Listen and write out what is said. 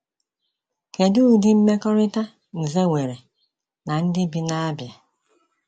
Kedu ụdị mmekọrịta Nze nwere na ndị bi na Abịa?